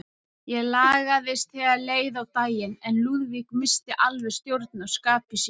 Ég lagaðist þegar leið á daginn, en Lúðvík missti alveg stjórn á skapi sínu.